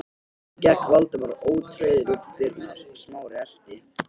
Þá gekk Valdimar ótrauður út um dyrnar, Smári elti.